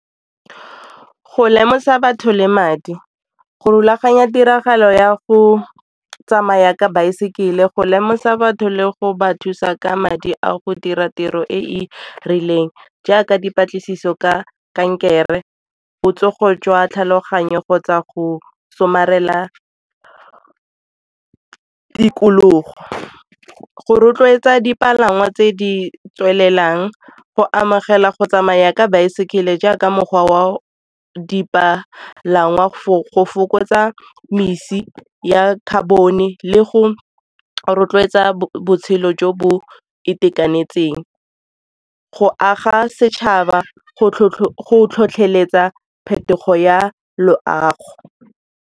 Go lemosa batho le madi, go rulaganya tiragalo ya go tsamaya ka baesekele, go lemosa batho le go ba thusa ka madi a go dira tiro e e rileng jaaka dipatlisiso ka kankere, botsogo jwa tlhaloganyo kgotsa go somarela tikologo. Go rotloetsa dipalangwa tse di tswelelang, go amogela go tsamaya ka baesekele jaaka mokgwa wa dipalangwa go fokotsa mesi ya carbon-e le go rotloetsa botshelo jo bo itekanetseng, go aga setšhaba, go tlhotlheletsa phetogo ya loago